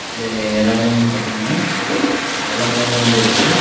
இந்த எறலா வந்து பாத்திங்கனா வெள்ள கலர்ல வந்து இருக்கு.